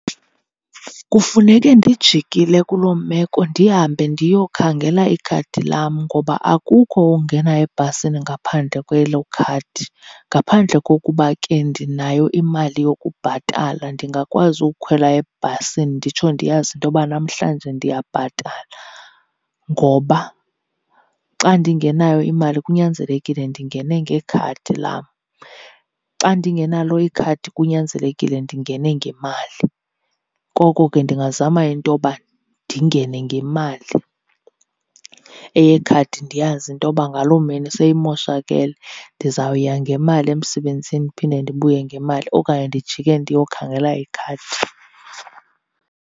Kufuneke ndijikile kuloo meko ndihambe ndiyokhangela ikhadi lam, ngoba akukho ungena ebhasini ngaphandle kwelo khadi. Ngaphandle kokuba ke ndinayo imali yokubhatala, ndingakwazi ukhwela ebhasini nditsho ndiyazi into yoba namhlanje ndiyabhatala. Ngoba xa ndingenayo imali kunyanzelekile ndingene ngekhadi lam, xa ndingenalo ikhadi kunyanzelekile ndingene ngemali. Koko ke ndingazama into yoba ndingene ngemali, eyekhadi ndiyazi into yoba ngaloo mini seyimoshakele. Ndizawuya ngemali emsebenzini ndiphinde ndibuye ngemali, okanye ndijike ndiyokhangela ikhadi.